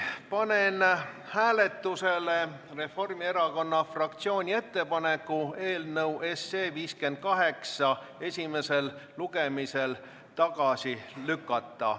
Panen hääletusele Reformierakonna fraktsiooni ettepaneku eelnõu 58 esimesel lugemisel tagasi lükata.